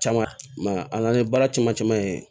Caman i man a n'an ye baara caman caman ye